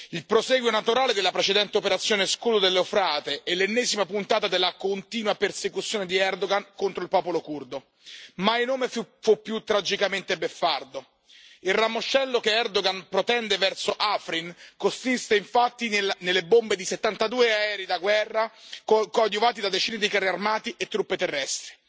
Il prosieguo naturale della precedente operazione Scudo dell'Eufrate è l'ennesima puntata della continua persecuzione di Erdogan contro il popolo curdo. Mai nome fu più tragicamente beffardo. Il ramoscello che Erdogan protende verso Afrin consiste infatti nelle bombe di 72 aerei da guerra coadiuvati da decine di carri armati e truppe terrestri.